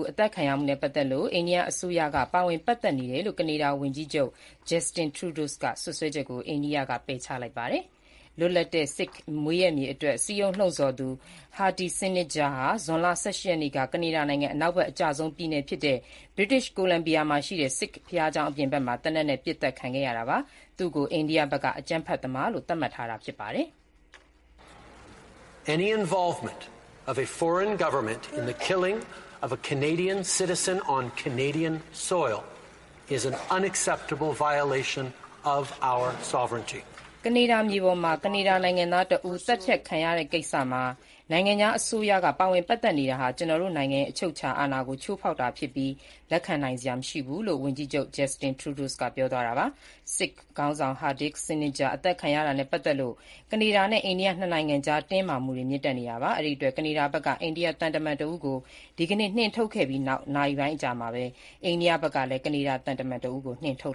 အသတ်ခံရမှုနဲ့ ပတ်သက်လို့ အိန္ဒိယအစိုးရက ပါ၀င်ပတ်သက်နေကြောင်း ကနေဒါ၀န်ကြီးချုပ် Justin Trudeau ရဲ့စွပ်စွဲချက်ကို အိန္ဒိယက ပယ်ချခဲ့ပါတယ်။ လွတ်လပ်သော ဆစ်ခ်မွေးရပ်မြေအတွက် စည်းရုံးလှုံ့ဆော်ခဲ့သူ Hardeep Singh Nijjar (ဟာဒီပ် ဆင်းနစ်ဂျာ)ဟာ ဇွန်လ ၁၈ ရက်နေ့က ကနေဒါနိုင်ငံ ဗြိတိန်ကိုလံဘီယာမှာရှိတဲ့ ဆစ်ခ်ဘုရားကျောင်းအပြင်ဘက်မှာ သေနတ်နဲ့ ပစ်သတ်ခံခဲ့ရတာပါ။ သူ့ကို အိန္ဒိယက အကြမ်းဖက်သမားလို့ သတ်မှတ်ထားတာဖြစ်ပါတယ်။ “ကနေဒါမြေပေါ်မှာ ကနေဒါနိုင်ငံသားတဦး သတ်ဖြတ်ခံရတဲ့ကိစ္စမှာ နိုင်ငံခြားအစိုးရက ပါဝင်ပတ်သက်နေတာဟာ ကျနော်တို့နိုင်ငံရဲ့ အချုပ်အခြာအာဏာကို ချိုးဖောက်တာဖြစ်ပြီး လက်ခံနိုင်စရာမရှိဘူး” လို့ ၀န်ကြီးချုပ် Justin Trudeau ကပြောသွားတာပါ။ ဆစ်ခ်ခေါင်းဆောင် ဟာဒီပ် ဆင်းနစ်ဂျာ အသတ်ခံရမှုနဲ့ပတ်သက်လို့ ကနေဒါ နဲ့ အိန္ဒိယ နှစ်နိုင်ငံကြား တင်းမာမှုတွေမြင့်တက်နေတာပါ။ ကနေဒါဘက်က အိန္ဒိယသံတမန်တဦးကို ဒီကနေ့ နှင်ထုတ်ခဲ့ပြီးနောက် နာရီပိုင်းအကြာမှာ အိန္ဒိယဘက်ကလည်း ကနေဒါသံတမန်တဦးကို နှင်ထုတ်